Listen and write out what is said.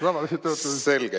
Selge!